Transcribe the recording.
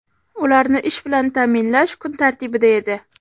ularni ish bilan ta’minlash kun tartibida edi.